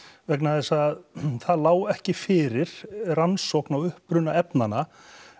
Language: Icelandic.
vegna þess að það lá ekki fyrir rannsókn á uppruna efnanna